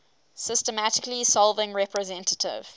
systematically solving representative